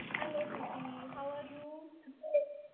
hello Preeti how are you